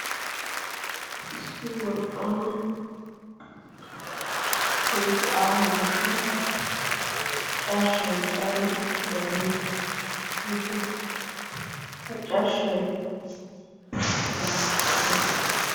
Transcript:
issi wolqqaama kehippe aaho goshshan carshshai caaridi uttidaagee beettees. ha carshshay rigaasa gettiiti?